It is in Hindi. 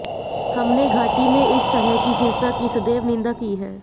हमने घाटी में इस तरह की हिंसा की सदैव निंदा की है